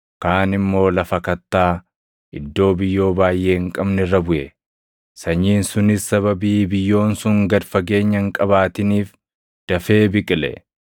Kaan immoo lafa kattaa, iddoo biyyoo baayʼee hin qabne irra buʼe. Sanyiin sunis sababii biyyoon sun gad fageenya hin qabaatiniif dafee biqile.